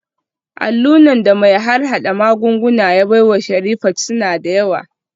Allunan da mai harhada magunguna ya baiwa Sherifat suna da yawa